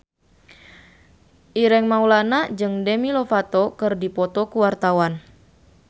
Ireng Maulana jeung Demi Lovato keur dipoto ku wartawan